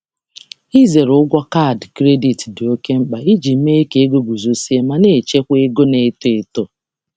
Ịzere ụgwọ kaadị kredit dị oké mkpa iji mee ka ego guzozie ma na-echekwa ego na-eto eto.